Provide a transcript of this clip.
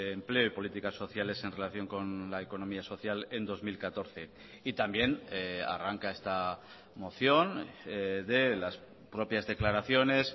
empleo y políticas sociales en relación con la economía social en dos mil catorce y también arranca esta moción de las propias declaraciones